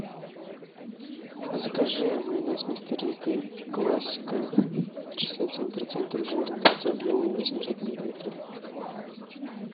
закажи майонез мистер рикко классика шестьдесят семь процентов жирности объемом восемьсот миллилитров